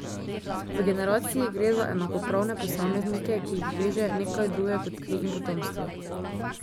V generaciji gre za enakopravne posameznike, ki jih veže nekaj drugega kot kri in potomstvo.